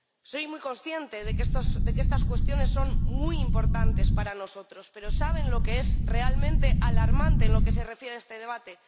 Soy muy consciente de que estas cuestiones son muy importantes para nosotros, pero, ¿saben lo que es realmente alarmante en lo que se refiere a este debate?